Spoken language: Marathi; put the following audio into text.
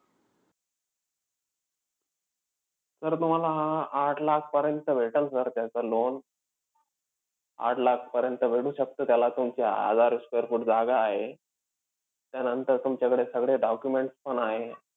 तर तुम्हाला आह आठ लाखपर्यंत भेटेल sir त्याचं loan. आठ लाखपर्यंत भेटू शकतं, त्याला तुमची हजार square foot जागा आहे. त्यानंतर तुमच्याकडे सगळे documents पण आहेत.